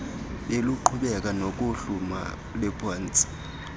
beluqhubeka nokuhluma luphantsi